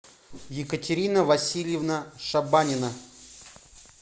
екатерина васильевна шабанина